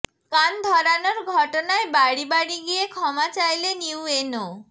কান ধরানোর ঘটনায় বাড়ি বাড়ি গিয়ে ক্ষমা চাইলেন ইউএনও